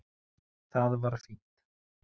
Það var fínt.